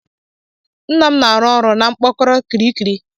Nna m na-arụ ọrụ na mpkoro kiriki.